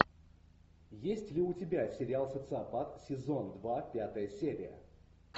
есть ли у тебя сериал социопат сезон два пятая серия